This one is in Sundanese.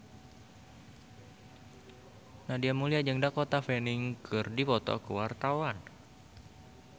Nadia Mulya jeung Dakota Fanning keur dipoto ku wartawan